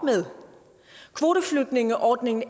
med kvoteflygtningeordningen